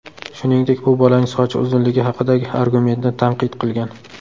Shuningdek, u bolaning sochi uzunligi haqidagi argumentni tanqid qilgan.